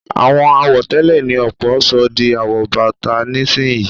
Àwọn àwọ̀tẹ́lẹ̀ ni ọ̀pọ̀ sọ di àwọ̀bọ́ta nísìnyí